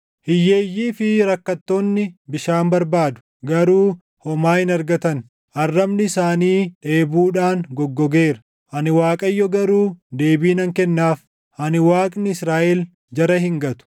“Hiyyeeyyii fi rakkattoonni bishaan barbaadu; garuu homaa hin argatan; arrabni isaanii dheebuudhaan goggogeera. Ani Waaqayyo garuu deebii nan kennaaf; ani Waaqni Israaʼel jara hin gatu.